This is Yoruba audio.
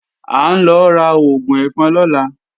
À ń lọ ra oògùn ẹ̀fọn lọ́la